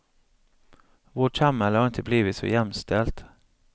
Vårt samhälle har inte blivit så jämställt.